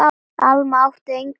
Alma átti engan sinn líka.